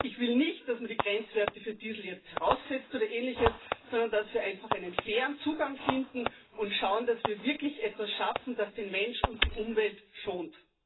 Ich will nicht, dass man die Grenzwerte für Diesel jetzt heraufsetzt oder ähnliches, sondern dass wir einfach einen fairen Zugang finden und schauen, dass wir wirklich etwas schaffen, das den Menschen und die Umwelt schont.